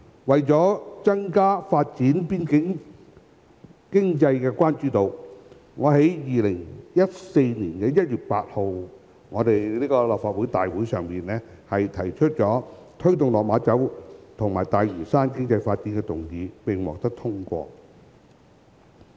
為增加發展邊境經濟的關注度，我於2014年1月8日立法會會議上提出"推動落馬洲及大嶼山的經濟發展"議案，並獲得通過。